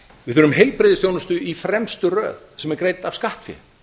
við þurfum heilbrigðisþjónustu í fremstu röð sem er greidd af skattfé